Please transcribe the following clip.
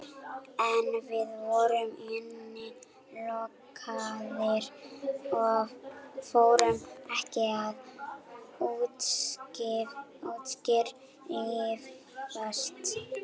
En við erum innilokaðir og fáum ekki að útskrifast.